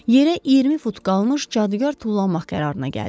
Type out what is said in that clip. Yerə 20 fut qalmış cadugar tullanmaq qərarına gəldi.